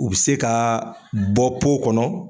U bɛ se ka bɔ kɔnɔ